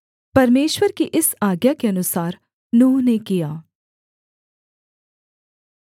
परमेश्वर की इस आज्ञा के अनुसार नूह ने किया